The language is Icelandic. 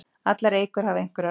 Allar eikur hafa einhverja rót.